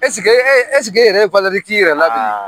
e yɛrɛ k'i yɛrɛ labilen